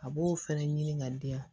A b'o fɛnɛ ɲini ka di yan